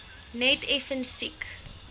net effens siek